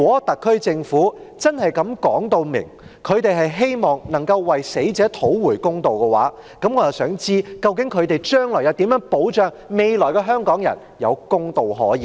特區政府清楚表示希望為死者討回公道，那他們未來又如何保障香港人有公道可言呢？